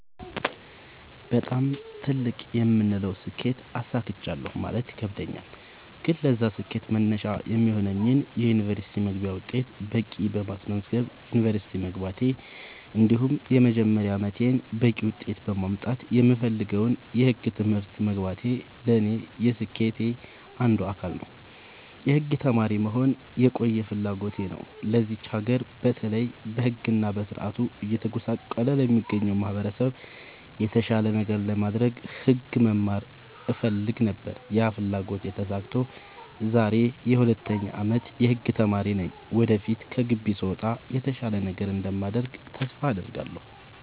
በጣም ትልቅ የምለውን ስኬት አሳክቻለሁ ማለት ይከብደኛል። ግን ለዛ ስኬት መነሻ የሚሆነኝን የ ዩኒቨርስቲ መግቢያ ውጤት በቂ በማስመዝገብ ዩንቨርስቲ መግባቴ እንዲሁም የመጀመሪያ አመቴን በቂ ውጤት በማምጣት የምፈልገውን የህግ ትምህርት መግባቴ ለኔ የስኬቴ አንዱ አካል ነው። የህግ ተማሪ መሆን የቆየ ፍላጎቴ ነው ለዚች ሀገር በተለይ በህግ እና በስርዓቱ እየተጎሳቆለ ለሚገኘው ማህበረሰብ የተሻለ ነገር ለማድረግ ህግ መማር እፈልግ ነበር ያ ፍላጎቴ ተሳክቶ ዛሬ የ 2ኛ አመት የህግ ተማሪ ነኝ ወደፊት ከግቢ ስወጣ የተሻለ ነገር እንደማደርግ ተስፋ አድርጋለሁ።